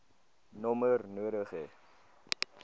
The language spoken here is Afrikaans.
nommer nodig hê